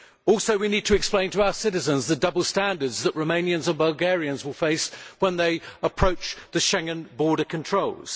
Also, we need to explain to our citizens the double standards that Romanians and Bulgarians will face when they approach the Schengen border controls.